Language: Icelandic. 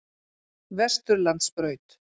Vesturlandsbraut